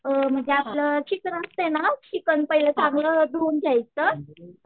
अ म्हणजे आपलं चिकन असतंय ना, चिकन पहिले चांगलं धुवून घ्यायचं.